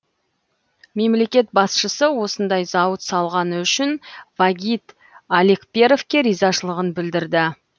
мемлекет басшысы осындай зауыт салғаны үшін вагит алекперовке ризашылығын білдірді